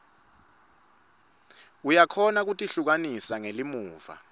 uyakhona kutihlukanisa ngelimuva